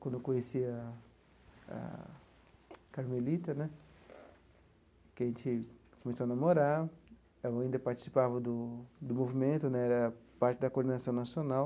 Quando eu conheci a a Carmelita né, que a gente começou a namorar, eu ainda participava do do movimento né, era parte da Coordenação Nacional.